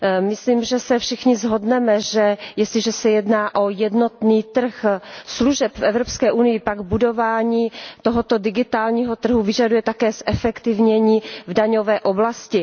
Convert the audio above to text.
Myslím, že se všichni shodneme na tom, že jestliže se jedná o jednotný trh služeb v Evropské unii, pak budování tohoto digitálního trhu vyžaduje také zefektivnění v daňové oblasti.